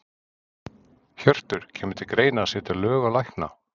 Hjörtur: Kemur til greina að setja lög á lækna?